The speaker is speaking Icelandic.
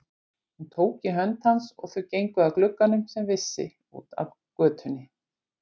Hún tók í hönd hans, og þau gengu að glugganum, sem vissi út að götunni.